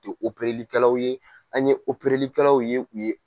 likɛlaw ye an ye likɛlaw ye u ye